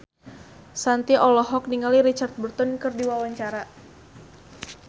Shanti olohok ningali Richard Burton keur diwawancara